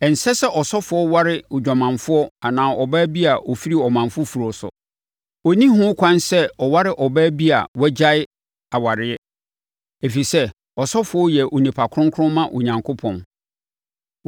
“ ‘Ɛnsɛ sɛ ɔsɔfoɔ ware odwamanfoɔ anaa ɔbaa bi a ɔfiri ɔman foforɔ so. Ɔnni ho kwan sɛ ɔware ɔbaa bi a wagyae awadeɛ, ɛfiri sɛ, ɔsɔfoɔ yɛ onipa kronkron ma Onyankopɔn.